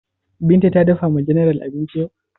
Binta ta dafa wa general abinci?